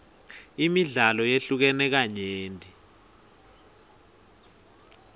imidlalo yehlukene kanyenti